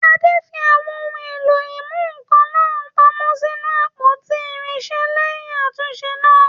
Ade fi àwọn ohun èlò ìmúnǹkan náà pamọ́ sínú àpótí irinṣẹ́ lẹ́yìn àtúnṣe náà.